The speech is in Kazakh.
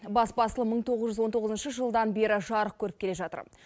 бас басылым мың тоғыз жүз он тоғызыншы жылдан бері жарық көріп келе жатыр